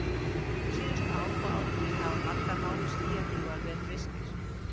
Síðustu ár og áratugi hafa margir háir skýjakljúfar verið reistir.